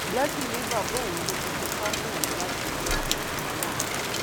blessing ni bàbá òun ló fi tipa mú òun láti fẹ ọmọkùnrin náà